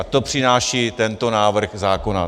A to přináší tento návrh zákona.